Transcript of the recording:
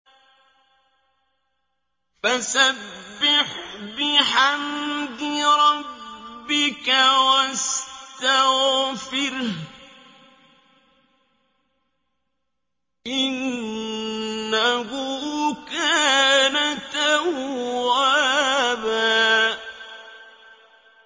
فَسَبِّحْ بِحَمْدِ رَبِّكَ وَاسْتَغْفِرْهُ ۚ إِنَّهُ كَانَ تَوَّابًا